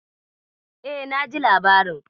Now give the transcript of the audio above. E, naji labarin.